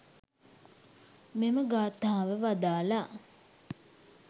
මෙම ගාථාව වදාළා.